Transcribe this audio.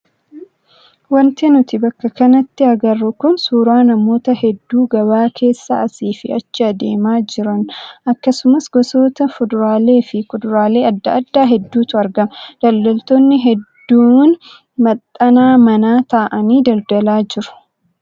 Wanti nuti bakka kanatti agarru kun suuraa namoota hedduu gabaa keessa asii fi achi adeemaa jiran akkasumas gosoota fuduraalee fi kuduraalee adda addaa hedduutu argamu. Daldaltoonni hedduun maxxana manaa taa'anii daldalaa jiru.